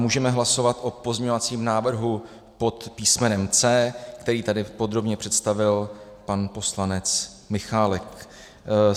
Můžeme hlasovat o pozměňovacím návrhu pod písmenem C, který tady podrobně představil pan poslanec Michálek.